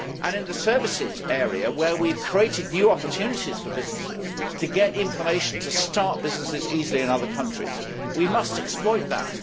In the services area, where we have created new opportunities for businesses to get information to start businesses easily in other countries, we must exploit that.